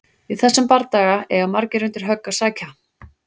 Í þessum bardaga eiga margir undir högg að sækja!